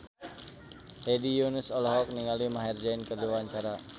Hedi Yunus olohok ningali Maher Zein keur diwawancara